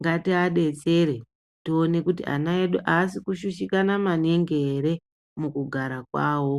Ngati adetsere tione kuti ana edu asi kushushikana maningi here mukugara kwawo.